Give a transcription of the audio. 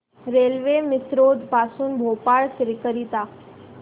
railway Misrod पासून भोपाळ करीता